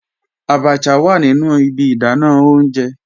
Àbàchà wà nínu ìbí ìdánà ọ̀unjẹ